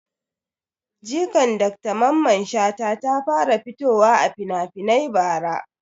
Jikan Dr mamman shata ta fara fitowa a finafinai bara